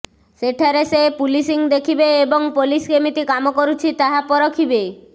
ସେଠାରେ ସେ ପୁଲିସିଂ ଦେଖିବେ ଏବଂ ପୋଲିସ କେମିତି କାମ କରୁଛି ତାହା ପରଖିବେ